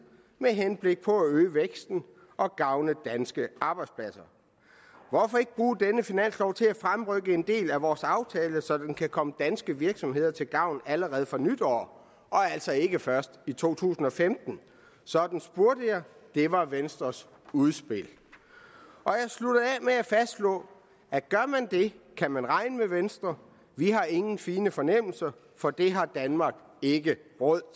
med henblik på at øge væksten og gavne danske arbejdspladser hvorfor ikke bruge denne finanslov til at fremrykke en del af vores aftale så den kan komme danske virksomheder til gavn allerede fra nytår og altså ikke først i 2015 sådan spurgte jeg det var venstres udspil af med at fastslå at gør man det kan man regne med venstre vi har ingen fine fornemmelser for det har danmark ikke råd